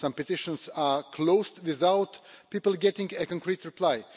Some petitions are closed without people getting a concrete reply.